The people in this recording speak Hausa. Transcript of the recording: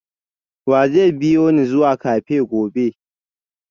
wa zai biyo ni zuwa cafe gobe?